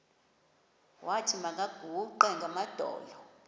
wathi makaguqe ngamadolo